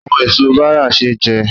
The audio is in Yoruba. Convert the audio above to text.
Àwọn èso bàrà ṣé jẹ